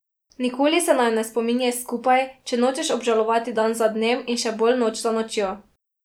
Nikoli se naju ne spominjaj skupaj, če nočeš obžalovati dan za dnem in še bolj noč za nočjo.